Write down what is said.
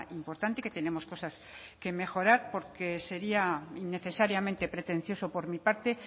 importante que tenemos cosas que mejorar porque sería innecesariamente pretencioso por mi parte